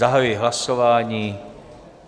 Zahajuji hlasování.